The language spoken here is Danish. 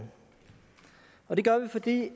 vil det